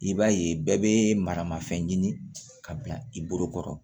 I b'a ye bɛɛ bɛ marama fɛn ɲini ka bila i bolokɔrɔ